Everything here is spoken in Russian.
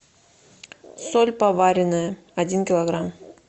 соль поваренная один килограмм